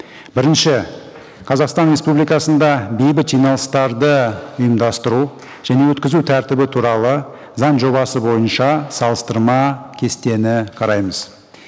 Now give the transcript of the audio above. бірінші қазақстан республикасында бейбіт жиналыстарды ұйымдастыру және өткізу тәртібі туралы заң жобасы бойынша салыстырма кестені қараймыз